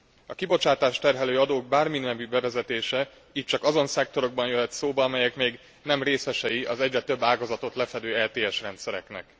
A kibocsátást terhelő adók bárminemű bevezetése itt csak azon szektorban jöhet szóba, amelyek még nem részesei az egyre több ágazatot lefedő ETS rendszereknek.